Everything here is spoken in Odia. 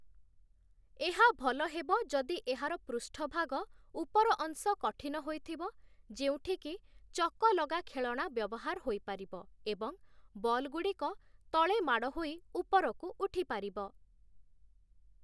ଏହା ଭଲ ହେବ ଯଦି ଏହାର ପୃଷ୍ଠଭାଗ ଉପରଅଂଶ କଠିନ ହୋଇଥିବ, ଯେଉଁଠିକି ଚକଲଗା ଖେଳଣା ବ୍ୟବହାର ହୋଇପାରିବ ଏବଂ ବଲ୍‌ଗୁଡ଼ିକ ତଳେ ମାଡ଼ ହୋଇ ଉପରକୁ ଉଠିପାରିବ ।